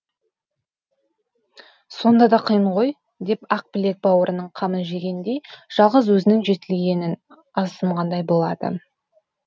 сонда да қиын ғой деп ақбілек бауырының қамын жегендей жалғыз өзінің жетілгенін азсынғандай болады